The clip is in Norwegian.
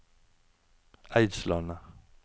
Eidslandet